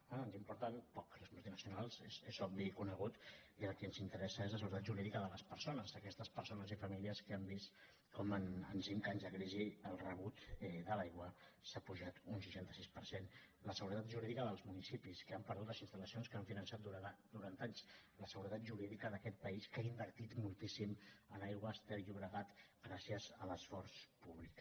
ens importen poc les multinacionals és obvi i conegut i el que ens interessa és la seguretat jurídica de les persones d’aquestes persones i famílies que han vist com en cinc anys de crisi el rebut de l’aigua s’ha apujat un seixanta sis per cent la seguretat jurídica dels municipis que han perdut les instal·lacions que han finançat durant anys la seguretat jurídica d’aquest país que ha invertit moltíssim en aigües ter llobregat gràcies a l’esforç públic